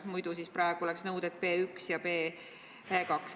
Muidu oleks nõuded B1 ja B2.